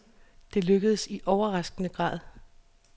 Det lykkedes i overraskende grad.